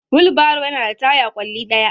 Wheelbarrow yana da taya ƙwalli ɗaya.